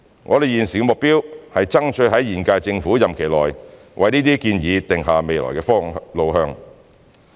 我們現時的目標是爭取在現屆政府任期內為這些建議定下未來路向。